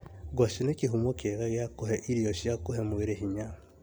Ngwacĩ nĩ kĩhumo kĩega gia kũhe irio cia kũhe mwĩrĩ hinya